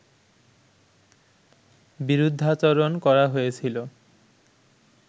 বিরুদ্ধাচরণ করা হয়েছিল